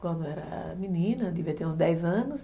Quando era menina, devia ter uns dez anos.